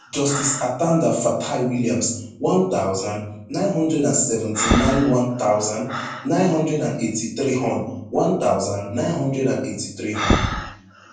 justice atanda fataiwilliams one thousand, nine hundred and seventy-nine one thousand, nine hundred and eighty-three hon one thousand, nine hundred and eighty-three hon